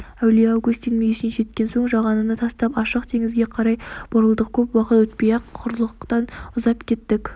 әулие августин мүйісіне жеткен соң жағаны тастап ашық теңізге қарай бұрылдық көп уақыт өтпей-ақ құрлықтан ұзап кеттік